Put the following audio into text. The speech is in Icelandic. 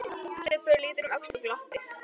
Stubbur lítur um öxl og glottir.